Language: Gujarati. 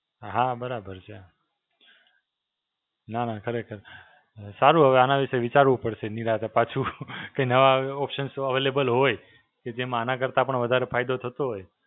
હાં, બરાબર છે. નાં નાં ખરેખર. સારું હવે આના વિશે વિચારવું પડશે નિરાંતે પાછું. કે નવા Options available હોય કે જેમાં આમાં કરતાં પણ વધારે ફાયદો થતો હોય,